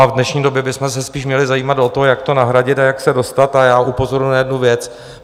A v dnešní době bychom se spíš měli zajímat o to, jak to nahradit a jak se dostat, a já upozorňuji na jednu věc.